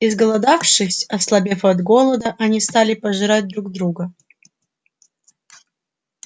изголодавшись ослабев от голода они стали пожирать друг друга